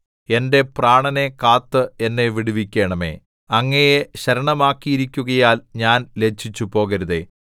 എന്റെ പ്രാണനെ കാത്ത് എന്നെ വിടുവിക്കണമേ അങ്ങയെ ശരണമാക്കിയിരിക്കുകയാൽ ഞാൻ ലജ്ജിച്ചുപോകരുതേ